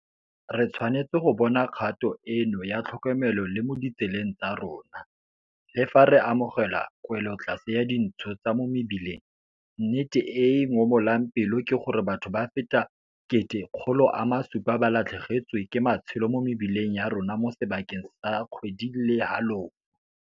Re tshwanetse go bona kgato eno ya tlhokomelo le mo ditseleng tsa rona, Le fa re amogela kwelotlase ya dintsho tsa mo mebileng, nnete e e ngomolang pelo ke gore batho ba feta 1,600 ba latlhegetswe ke matshelo mo mebileng ya rona mo sebakeng sa kgwedi le halofo.